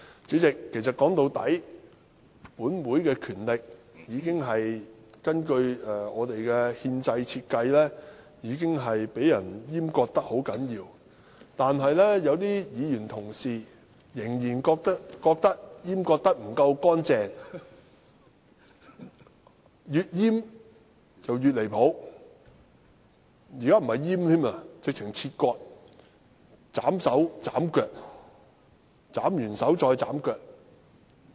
主席，說到底，本會的權力根據憲制設計，已經被人嚴重閹割，但有些議員同事仍然覺得閹割得不夠乾淨，越閹越"離譜"，現在不是閹割，簡直是切割，斬手斬腳，斬完手再斬腳。